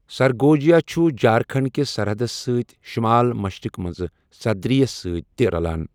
سرگوجیا چھُ جھارکھنڈ کِس سرحدس سۭتۍ شمال مشرق منٛز صدری یَس سۭتۍ تہِ رَلان۔